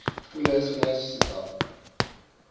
kuleso naleso sigaba